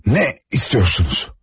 Nə istəyirsiniz?